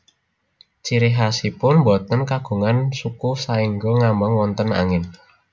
Ciri khasipun boten kagungan suku saéngga ngambang wonten angin